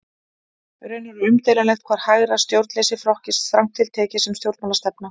Raunar er umdeilanlegt hvort hægra stjórnleysi flokkist strangt til tekið sem stjórnmálastefna.